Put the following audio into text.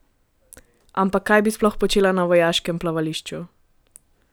Ampak kaj bi sploh počela na Vojaškem plavališču?